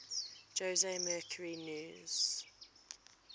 jose mercury news